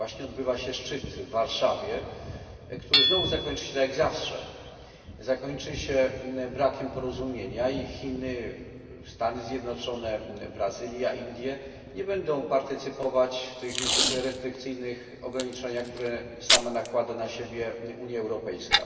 Właśnie odbywa się szczyt w Warszawie, który znowu zakończy się tak jak zawsze, zakończy się brakiem porozumienia, a Chiny, Stany Zjednoczone, Brazylia i Indie nie będą partycypować w tych niezwykle restrykcyjnych ograniczeniach, które sama nakłada na siebie Unia Europejska.